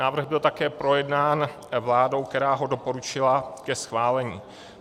Návrh byl také projednán vládou, která ho doporučila ke schválení.